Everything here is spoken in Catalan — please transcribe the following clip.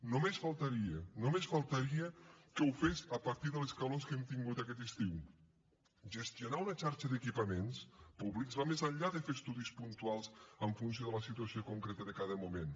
només faltaria només faltaria que ho fes a partir de les calors que hem tingut aquest estiu gestionar una xarxa d’equipaments públics va més enllà de fer estudis puntuals en funció de la situació concreta de cada moment